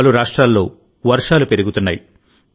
పలు రాష్ట్రాల్లో వర్షాలు పెరుగుతున్నాయి